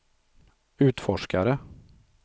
utforskare